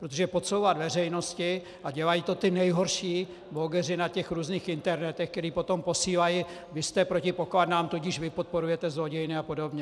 Protože podsouvat veřejnosti, a dělají to ti nejhorší blogeři na těch různých internetech, kteří potom posílají - vy jste proti pokladnám, tudíž vy podporujete zlodějny a podobně.